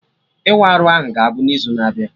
Ịwa arụ ahụ ga-abụ n'izu na-abịa